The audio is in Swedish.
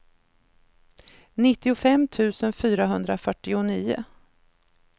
nittiofem tusen fyrahundrafyrtionio